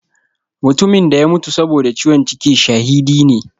Mutumin da ya mutu saboda ciwon ciki shahidi ne.